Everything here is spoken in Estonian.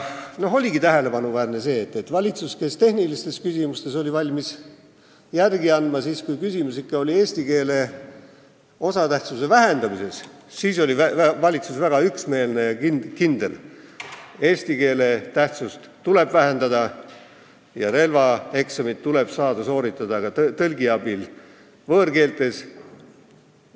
See oligi tähelepanuväärne, et valitsus, kes tehnilistes küsimustes oli valmis järele andma, oli siis, kui küsimuse all oli eesti keele osatähtsuse vähendamine, väga üksmeelne ja kindel: eesti keele tähtsust tuleb vähendada ja relvaeksamit tuleb saada sooritada ka tõlgi abil võõrkeeles.